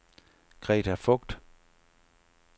Greta Voigt